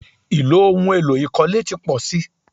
Ì̀lò ohun èlo ìkọ́lé ti pọ̀ si.